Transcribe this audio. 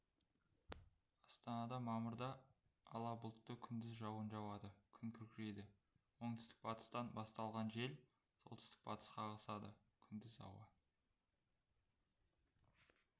астанада мамырда ала бұлтты күндіз жауын жауады күн күркірейді оңтүстік-батыстан басталған жел солтүстік-батысқа ығысады күндіз ауа